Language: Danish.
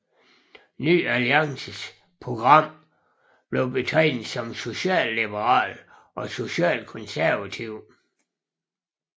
Ny Alliances program blev betegnet som socialliberalt og socialkonservativt